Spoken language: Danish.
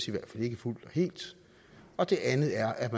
i hvert fald ikke fuldt og helt og det andet er at